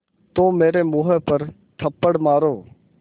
तो मेरे मुँह पर थप्पड़ मारो